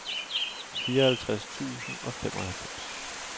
fireoghalvtreds tusind og femoghalvfems